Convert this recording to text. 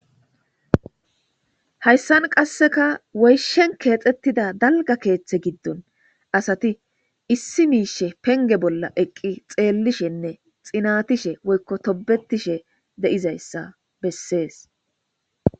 Hayssan qasseka woyshen keexxettida dalga keeththe giddon asati issi miishe penge bolla eqqi xeellishenne xinatishe woykko tobetishe de7izayssa bessees